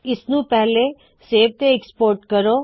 ਇਸ ਨੂੰ ਪਹਿਲੇ ਸੇਵ ਤੇ ਫੇਰ ਐਕਸਪੋਰਟ ਕਰੇਂ